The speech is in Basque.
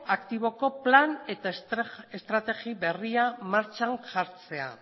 aktiboko plan eta estrategi berria martxan jartzea